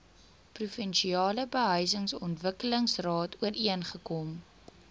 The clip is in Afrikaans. provinsiale behuisingsontwikkelingsraad ooreengekom